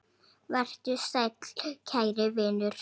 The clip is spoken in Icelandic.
Vertu sæll kæri vinur.